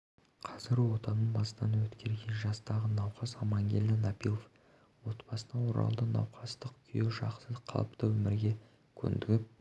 қазір отаны бастан өткерген жастағы науқас амангелді напилов отбасына оралды науқастың күйі жақсы қалыпты өмірге көндігіп